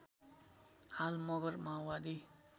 हाल मगर माओवादी